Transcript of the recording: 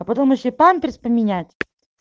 а потом ещё памперс поменять